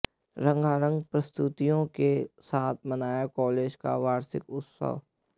रंगारंग प्रस्तुतियों के साथ मनाया कॉलेज का वार्षिकोत्सव